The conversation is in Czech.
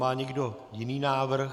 Má někdo jiný návrh?